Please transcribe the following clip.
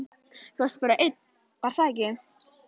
Þú varst bara einn, var það ekki?